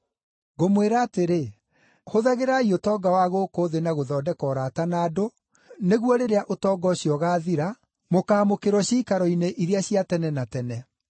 Ngũmwĩra atĩrĩ, hũthagĩrai ũtonga wa gũkũ thĩ na gũthondeka ũrata na andũ, nĩguo rĩrĩa ũtonga ũcio ũgaathira, mũkaamũkĩrwo ciikaro-inĩ iria cia tene na tene.